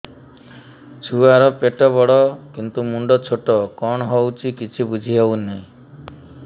ଛୁଆର ପେଟବଡ଼ କିନ୍ତୁ ମୁଣ୍ଡ ଛୋଟ କଣ ହଉଚି କିଛି ଵୁଝିହୋଉନି